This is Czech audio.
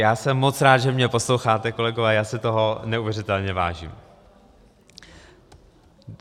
Já jsem moc rád, že mě posloucháte, kolegové, já si toho neuvěřitelně vážím.